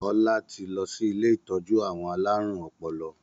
Ọlá tí lọ sí ilé ìtọ́jú àwọn alárùn ọpọlọ.